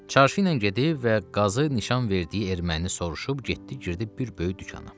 Çarşı ilə gedib və qazı nişan verdiyi erməni soruşub getdi girdi bir böyük dükana.